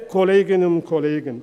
Liebe Kolleginnen und Kollegen: